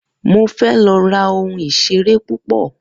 Mo fé lo ra oun ìseré pupo